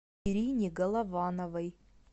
ирине головановой